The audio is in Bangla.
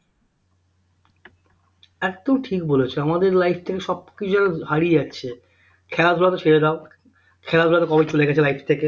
একদম ঠিক বলেছ আমাদের life থেকে সব কিছু যেন হারিয়ে যাচ্ছে খেলাধুলা তো ছেড়ে দাও খেলাধুলা তো কবে চলে গেছে life থেকে